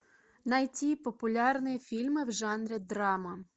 найти популярные фильмы в жанре драма